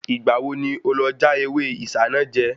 Ìgbà wo ni o lọ já ewé Isanaje?